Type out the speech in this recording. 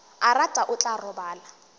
a rata o tla robala